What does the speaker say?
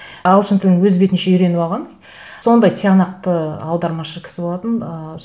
ағылшын тілін өз бетінше үйреніп алған сондай тиянақты аудармашы кісі болатын ыыы